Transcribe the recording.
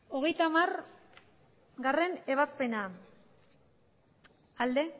hogeita hamargarrena ebazpena aldeko